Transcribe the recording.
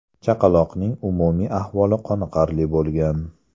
Chaqaloqning umumiy ahvoli qoniqarli bo‘lgan.